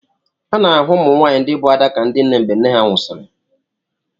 A na-ahụ ụmụ nwaanyị ndị bụ Ada ka ndị nne mgbe nne ha nwụsịrị.